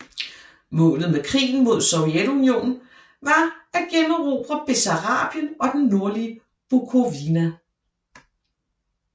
Målet med krigen mod Sovjetunionen var at generobre Bessarabien og det nordlige Bukovina